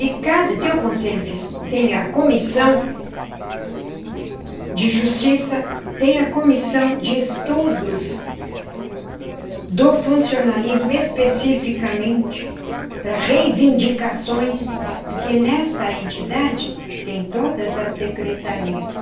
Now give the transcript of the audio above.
E cada tem o conselho tem a comissão de justiça, tem a comissão de estudos do funcionalismo especificamente para reivindicações, porque nesta entidade tem todas as secretarias.